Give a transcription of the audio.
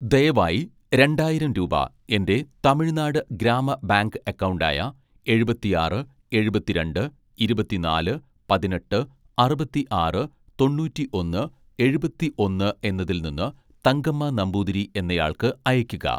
ദയവായി രണ്ടായിരം രൂപ എൻ്റെ തമിഴ്നാട് ഗ്രാമ ബാങ്ക് അക്കൗണ്ട് ആയ എഴുപത്തിആറ് എഴുപത്തിരണ്ട് ഇരുപത്തിനാല് പതിനെട്ട് അറുപത്തിആറ് തൊണ്ണൂറ്റിഒന്ന് എഴുപത്തിഒന്ന് എന്നതിൽ നിന്ന് തങ്കമ്മ നമ്പൂതിരി എന്നയാൾക്ക് അയക്കുക